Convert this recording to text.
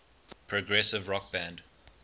progressive rock band